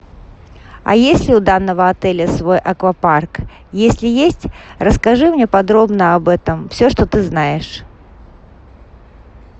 а есть ли у данного отеля свой аквапарк если есть расскажи мне подробно об этом все что ты знаешь